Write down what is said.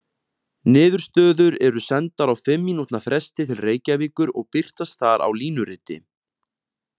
Niðurstöður eru sendar á fimm mínútna fresti til Reykjavíkur og birtast þar á línuriti.